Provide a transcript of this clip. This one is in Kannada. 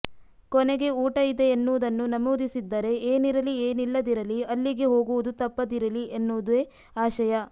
ಕೊನೆಗೆ ಊಟ ಇದೆ ಎನ್ನುವುದನ್ನು ನಮೂದಿಸಿದ್ದರೆ ಏನಿರಲಿ ಏನಿಲ್ಲದಿರಲಿ ಅಲ್ಲಿಗೆ ಹೋಗುವುದು ತಪ್ಪದಿರಲಿ ಎನ್ನುವುದೇ ಆಶಯ